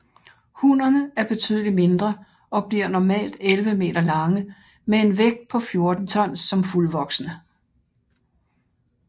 Hunnerne er betydeligt mindre og bliver normalt 11 meter lange med en vægt på 14 ton som fuldvoksne